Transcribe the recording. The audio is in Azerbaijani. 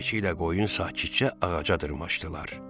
Keçi ilə qoyun sakitcə ağaca dırmaşdılar.